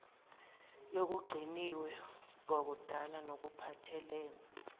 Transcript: yokugciniwe kwakudala nokuphathelene